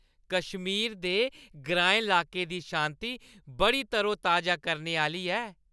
कश्मीर दे ग्राईं लाके दी शांति बड़ी तरोताजा करने आह्‌ली ऐ।